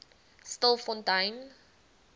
stilfontein